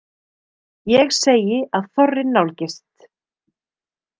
Ég segi að þorrinn nálgist.